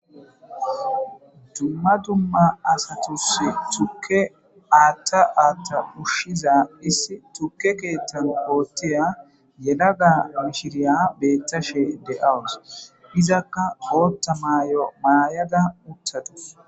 dumma dumma asatus tukke aatta aatta ushshiza issi tukke keettano hoottiya yelaga mishiriya beettashe de7awus izakka hootta maayo maayaga uttadus